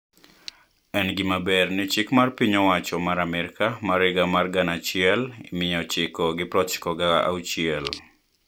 En gimaber ni chik mar piny owacho ma Amerka ma higa mar gana achiel mia ochiko gi prochiko ga auchiel